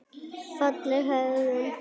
Fagleg hegðun.